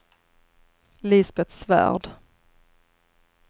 Lisbeth Svärd